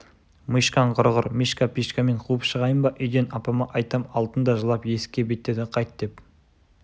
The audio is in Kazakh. мишкаң құрығыр мишка-пишкамен қуып шығайын ба үйден апама айтам алтын да жылап есікке беттеді қайт деп